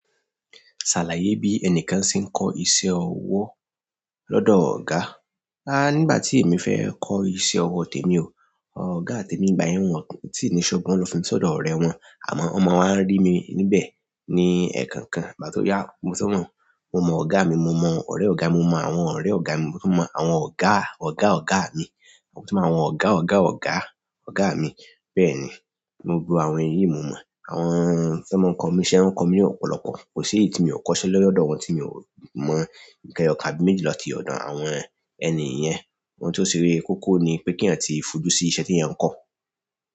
Sàlàyé bí ẹnìkan ṣe ń kọ́ iṣẹ́ ọwọ́ lọ́dọ̀ ọ̀gá. A nígbà tí èmi fẹ́ kọ́ iṣẹ́ ọwọ́ tèmi o, ọ̀gá tèmi ìgbà yẹn wọ́n ò tí ì ní shop wọn lọ fi mí sọ́dọ̀ ọ̀rẹ́ wọn, àmọ́ wọn mọmi n wa rí mi níbẹ̀ ní ẹ̀kan kan. Ìgbà tó yá, mo to mọ, mo mọ ọ̀gá mi, mo mọ ọ̀rẹ́ ọ̀gá, mo mọ àwọn ọ̀rẹ́ ọ̀gá mi, mo tún mọ àwọn ọ̀gá ọ̀gá ọ̀gá mi, mo tún mọ àwọn ọ̀gá ọ̀gá ọ̀gá ọ̀gá mi. Bẹ́ẹ̀ni gbogbo àwọn èyí mo mọ àwọn tan mo ń kọ́ mi n iṣẹ́, wọn kọ́ mi ni ọ́pọ̀lọpọ̀. Kò ṣe éyí tí mo kọ́ iṣẹ́ lọ́dọ̀ wọn tí mi ò mọ nǹkan eyọkàn àbí méjì tati ọ̀dọ̀ àwọn ẹni yẹn. Ohun tó ṣe koko ni pé kí eeyan tí fojú sí iṣẹ́ tí eeyań kọ.